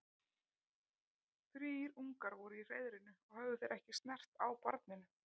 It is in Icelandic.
Þrír ungar voru í hreiðrinu og höfðu þeir ekki snert á barninu.